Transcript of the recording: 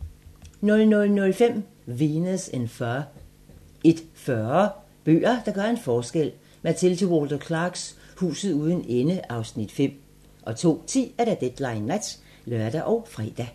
00:05: Venus In Fur 01:40: Bøger, der gør en forskel: Mathilde Walter Clarks "Huset uden ende" (Afs. 5) 02:10: Deadline Nat (lør og fre)